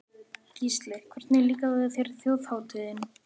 Gísli: Hvernig líkaði þér Þjóðhátíðin?